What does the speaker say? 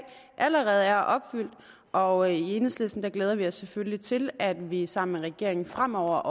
allerede er opfyldt og i enhedslisten glæder vi os selvfølgelig til at vi sammen med regeringen fremover